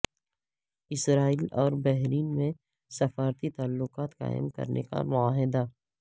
اسرائیل اور بحرین میں سفارتی تعلقات قائم کرنے کا معاہدہ